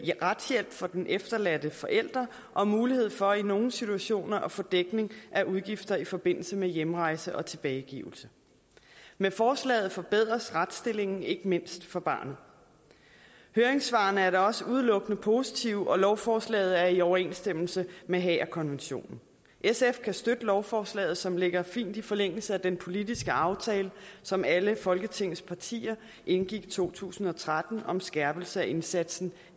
retshjælp for den efterladte forælder og mulighed for i nogle situationer at få dækning af udgifter i forbindelse med hjemrejse og tilbagegivelse med forslaget forbedres retsstillingen ikke mindst for barnet høringssvarene er da også udelukkende positive og lovforslaget er i overensstemmelse med haagerkonventionen sf kan støtte lovforslaget som ligger fint i forlængelse af den politiske aftale som alle folketingets partier indgik i to tusind og tretten om skærpelse af indsatsen